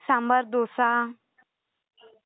Sambar dosa.